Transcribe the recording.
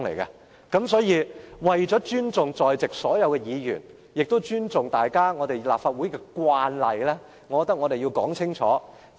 因此，為了尊重所有在席議員，也尊重立法會的慣例，我認為我們要說清楚。